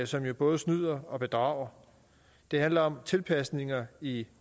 som jo både snyder og bedrager det handler om tilpasninger i